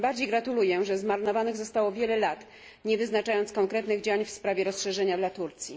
Tym bardziej gratuluję, że zmarnowanych zostało wiele lat, nie wyznaczając konkretnych działań w sprawie rozszerzenia dla Turcji.